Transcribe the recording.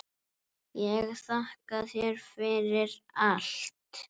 Ég þakka þér fyrir allt.